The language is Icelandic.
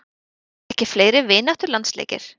Verða ekki fleiri vináttulandsleikir?